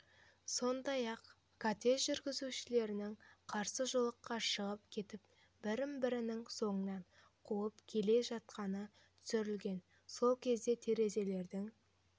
сондай-ақ кортеж жүргізушілерінің қарсы жолаққа шығып кетіп бір-бірінің соңынан қуып келе жатқаны түсірілген сол кезде терезелердің